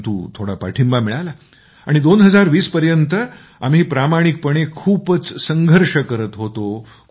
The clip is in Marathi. परंतु थोडा पाठिंबा मिळाला आणि 2020 पर्यंत आम्ही प्रामाणिकपणे खूपच संघर्ष करत होतो